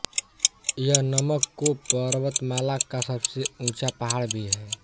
यह नमक कोह पर्वतमाला का सबसे ऊँचा पहाड़ भी है